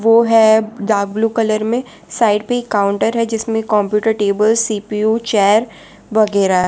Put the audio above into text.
वो है dark blue colour में साइड में एक काउंटर है जिसमें कंप्यूटर टेबल सी_पी_यू चेयर वगैरा--